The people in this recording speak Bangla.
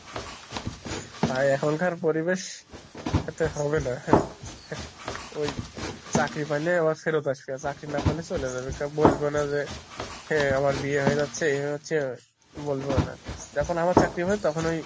ভাই এখনকার পরিবেশ এতে হবে না চাকরি পাইলে আবার ফেরত আসবে চাকরি না পাইলে চলে যাবে কেউ বলবো না যে, হে আমার বিয়ে হয়ে যাচ্ছে এ হচ্ছে বলবেও না যখন আমার চাকরি হয় তখন ওই ,